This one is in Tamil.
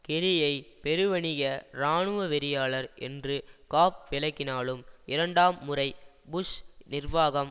கெர்ரியை பெருவணிக இராணுவவெறியாளர் என்று காப் விளக்கினாலும் இரண்டாம் முறை புஷ் நிர்வாகம்